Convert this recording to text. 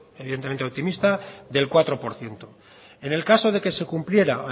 evidentemente optimista del cuatro por ciento en el caso de que se cumpliera